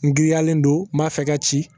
N giriyalen don n m'a fɛ ka ci